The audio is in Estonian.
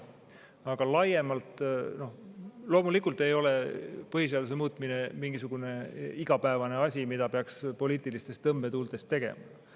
Aga laiemalt, loomulikult ei ole põhiseaduse muutmine igapäevane asi, mida peaks poliitilistes tõmbetuultes tegema.